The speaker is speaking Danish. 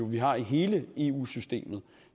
vi har i hele eu systemet